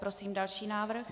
Prosím další návrh.